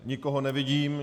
Nikoho nevidím.